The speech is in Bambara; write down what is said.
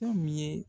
Fɛn min ye